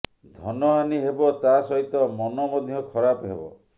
ଧନହାନି ହେବ ତା ସହିତ ମନ ମଧ୍ୟ ଖରାପ ହେବ